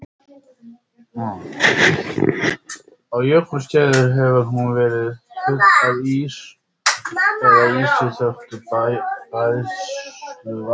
Á jökulskeiðum hefur hún verið full af ís eða ísi þöktu bræðsluvatni.